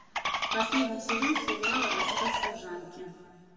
последний сезон сериала рассказ служанки